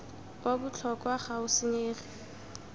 wa botlhokwa ga o senyege